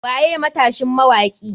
Waye matashin mawaki?